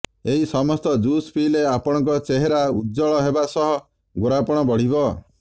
ଏହି ସମସ୍ତ ଜୁସ୍ ପିଇଲେ ଆପଣଙ୍କ ଚେହେରା ଉଜ୍ଜ୍ୱଳ ହେବା ସହ ଗୋରାପଣ ବଢ଼ିବ